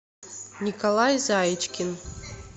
николай заичкин